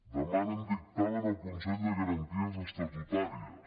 demanen dictamen al consell de garanties estatutàries